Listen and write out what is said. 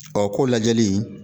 Ɔ ko lajɛli